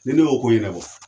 Ne ne y'o ko yɛnɛbɔ